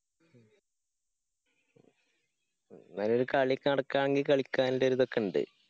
അയിന് കളി നടക്കാണെങ്കില് കളിക്കേണ്ട ഒരിതെക്കെയുണ്ട്.